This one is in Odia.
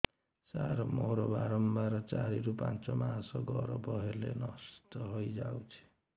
ସାର ମୋର ବାରମ୍ବାର ଚାରି ରୁ ପାଞ୍ଚ ମାସ ଗର୍ଭ ହେଲେ ନଷ୍ଟ ହଇଯାଉଛି